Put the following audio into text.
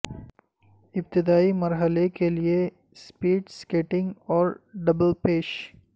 ابتدائی مرحلے کے لئے سپیڈ سکیٹنگ اور ڈبل پش